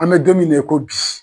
An bɛ don mina i ko bi.